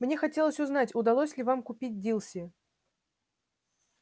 мне хотелось узнать удалось ли вам купить дилси